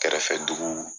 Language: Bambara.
Kɛrɛfɛ duguw